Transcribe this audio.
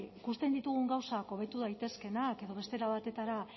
ikusten ditugun gauzak hobetu daitezkeenak edo beste era batetara